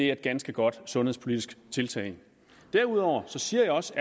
er et ganske godt sundhedspolitisk tiltag derudover siger jeg også